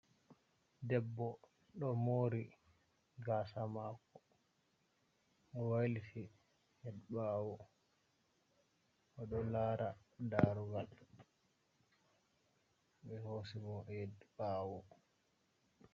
Debbo ɗo mori gasa mako, o wailiti hed ɓawo, oɗo lara darugal ɓe hosi mo hed ɓawo.